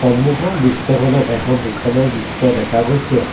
সন্মুখৰ দৃশ্যখনত এখন দোকানৰ দৃশ্য দেখা গৈছে।